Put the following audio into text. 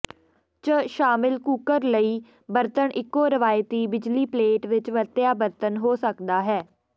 ਚ ਸ਼ਾਮਲ ਕੂਕਰ ਲਈ ਬਰਤਨ ਇੱਕੋ ਰਵਾਇਤੀ ਬਿਜਲੀ ਪਲੇਟ ਵਿੱਚ ਵਰਤਿਆ ਬਰਤਨ ਹੋ ਸਕਦਾ ਹੈ